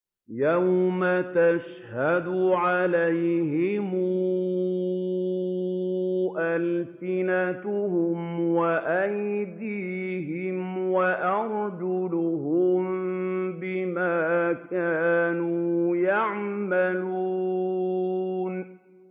يَوْمَ تَشْهَدُ عَلَيْهِمْ أَلْسِنَتُهُمْ وَأَيْدِيهِمْ وَأَرْجُلُهُم بِمَا كَانُوا يَعْمَلُونَ